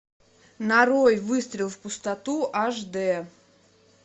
нарой выстрел в пустоту аш д